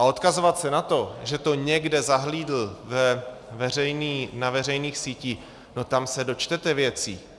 A odkazovat se na to, že to někde zahlédl na veřejných sítích - no tam se dočtete věcí!